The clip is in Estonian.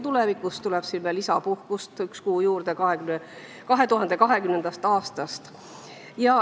Tulevikus, 2020. aastast, tuleb veel üks kuu lisapuhkust juurde.